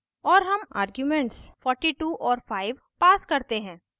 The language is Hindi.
और हम आर्ग्यूमेंट्स 42 और 5 pass करते हैं